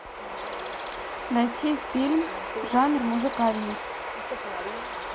найти фильм жанр музыкальный